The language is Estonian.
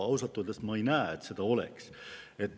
Ausalt öeldes ma ei näe, et seda oleks.